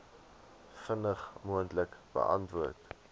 vinnig moontlik beantwoord